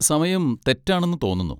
സമയം തെറ്റാണെന്ന് തോന്നുന്നു.